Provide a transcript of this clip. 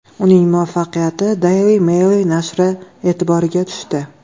Uning muvaffaqiyati Daily Mail nashri e’tiboriga tushdi.